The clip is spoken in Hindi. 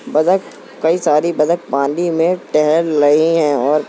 बदक कई सारी बदक पानी में टहल लाये है और --